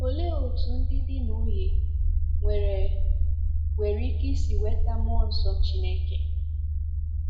Olee otú ndị di na nwunye nwere nwere ike isi nweta mmụọ nsọ Chineke?